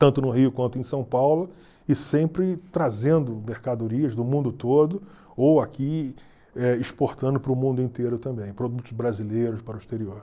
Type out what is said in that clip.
tanto no Rio quanto em São Paulo, e sempre trazendo mercadorias do mundo todo ou aqui eh exportando para o mundo inteiro também, produtos brasileiros para o exterior.